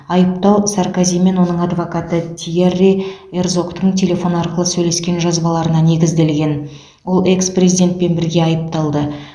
айыптау саркози мен оның адвокаты тиерри эрзогтың телефон арқылы сөйлескен жазбаларына негізделген ол экс президентпен бірге айыпталды